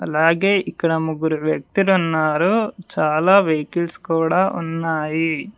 అలాగే ఇక్కడ ముగ్గురు వ్యక్తులున్నారు చాలా వెహికల్స్ కూడా ఉన్నాయి.